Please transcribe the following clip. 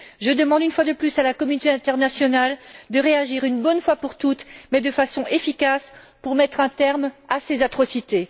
Je demande une fois de plus à la communauté internationale de réagir une fois pour toutes, et de façon efficace, pour mettre un terme à ces atrocités.